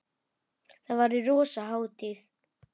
Þá verður rosa hátíð!